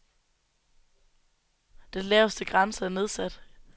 Den laveste grænse er nedsat.